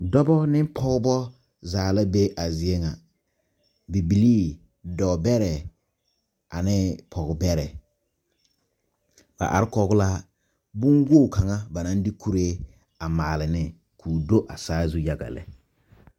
Dɔbɔ ne pɔɔbɔ zaa la be a zie ŋa bibilii dɔɔ bɛrɛɛ ane pɔɔbɛrɛ ba are kɔg la bonwoge kaŋa ba naŋ de kuree a maale ne koo do a saazu yaga lɛ.